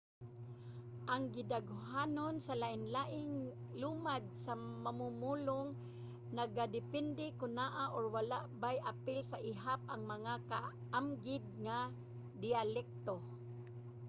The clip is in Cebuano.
ang gidaghanon sa lain-laing lumad nga mamumulong nagadepende kon naa or wala bay apil sa ihap ang mga kaamgid nga diyalekto